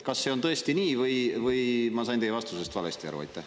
" Kas see on tõesti nii või ma sain teie vastusest valesti aru?